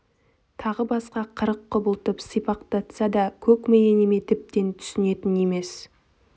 тағы басқа қырық құбылтып сипақтатса да көк миі неме тіптен түсінетін емес